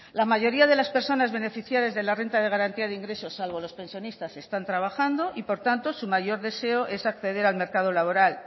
la mayoría de las personas beneficiarias de la renta de garantía de ingresos salvo los pensionistas están trabajando y por tanto su mayor deseo es acceder al mercado laboral